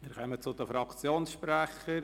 Wir kommen zu den Fraktionssprechern.